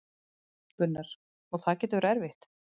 Gunnar: Og það getur verið erfitt?